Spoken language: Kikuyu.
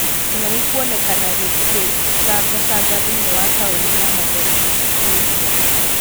Kĩng'ang'i kuonekana gĩkĩcangacanga thĩinĩ wa taũni ya Mathari Australia.